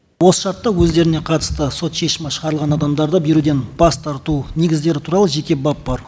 осы шартта өздеріне қатысты сот шешімі шығарылған адамдарды беруден бас тарту негіздері туралы жеке бап бар